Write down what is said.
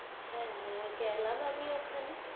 হা হা গেলাম আমি ওখানে